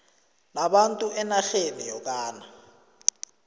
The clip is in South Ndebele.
labantu enarheni yokana